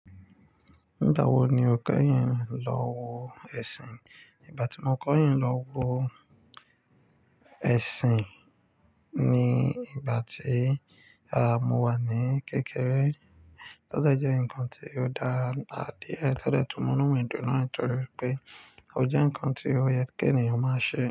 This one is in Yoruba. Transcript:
Nígbà wo ni o kẹ́yìn lọ wo ẹ̀sìn? Ìgbà tí mo kẹ́yìn lọ wo ẹ̀sìn ni ìgbà tí, à, mo wà ní kékeré. Ó dẹ jẹ́ ǹkan tí ó dara díẹ. Tọ́ dẹ tún mo inú dùn naa nítorí wipé ó jẹ́ ǹkan tí ó yẹ kí ènìyàn máa ṣe.